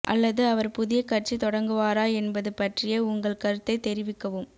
அல்லது அவர் புதிய கட்சி தொடங்குவாரா என்பது பற்றிய உங்கள் கருத்தைத் தெரிவிக்கவும்